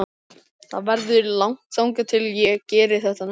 Það verður langt þangað til ég geri þetta næst.